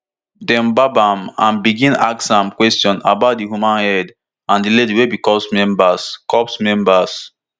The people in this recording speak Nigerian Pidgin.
dem gbab am and begin ask am question about di human head and di lady wey be corps member corps member